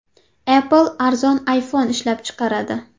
Apple arzon iPhone ishlab chiqaradi.